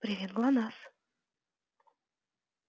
привет глонассс